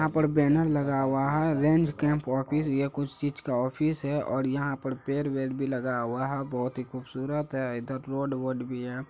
यहाँ पर बेनर लगा हुआ है रेंज कैंप ऑफिस यह कुछ चीज का ऑफिस है और यहा पर पेड़ बेड भी लगा हुआ है बहुत ही खुबसुरत है इधर रोड बोर्ड भी है|